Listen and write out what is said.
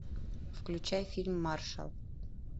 включай фильм маршал